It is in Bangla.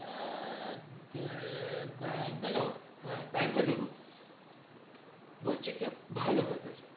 আর তে ব্যাঙ~ ব্যাঙ্গালোর হ্যাঁ ব্যাঙ্গালুরু বলছি কি ভালো weather